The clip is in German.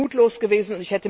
Das ist mutlos gewesen.